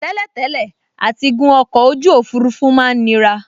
Tẹ́lẹ̀tẹ́lẹ̀ àtigun ọkọ̀ ojú òfurufú máa n nira